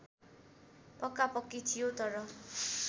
पक्कापक्की थियो तर